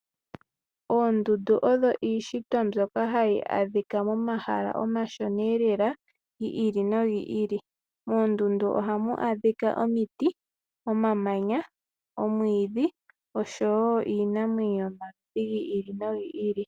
Oondundu odho iishitw mbyoka hayi adhika momahala omashona eelala gi ili nogi ili moondundu ohamu adhika omiti omamanya ,omwiidhi oshowo iinamwenyo yomaludhi gi ili nogi ili.